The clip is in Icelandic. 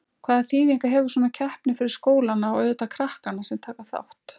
Hvaða þýðingu hefur svona keppni fyrir skólana og auðvitað krakkana sem taka þátt?